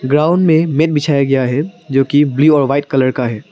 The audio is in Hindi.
ग्राउंड में मैट बिछाया गया है जो की ब्लू और वाइट कलर का है।